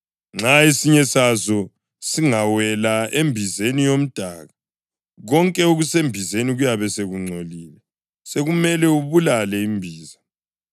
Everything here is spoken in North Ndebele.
Nxa esinye sazo singawela embizeni yomdaka, konke okusembizeni kuyabe sekungcolile, sekumele ubulale imbiza.